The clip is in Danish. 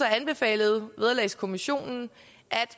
anbefalede vederlagskommissionen at